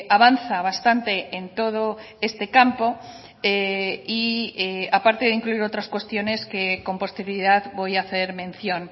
avanza bastante en todo este campo y a parte de incluir otras cuestiones que con posterioridad voy a hacer mención